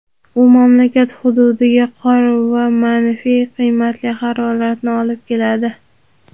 U mamlakat hududlariga qor va manfiy qiymatli haroratlarni olib keladi.